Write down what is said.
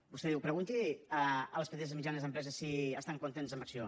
vostè diu pregunti a les petites i mitjanes empreses si estan contentes amb acció